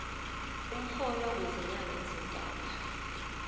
umholo wezinyanga ezintathu